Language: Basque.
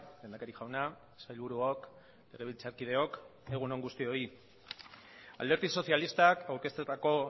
lehendakari jauna sailburuok legebiltzarkideok egun on guztioi alderdi sozialistak aurkeztetako